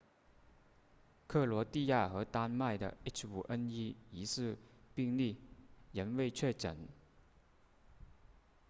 克罗地亚和丹麦的 h5n1 疑似病例仍未确诊